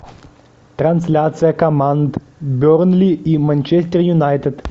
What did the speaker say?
трансляция команд бернли и манчестер юнайтед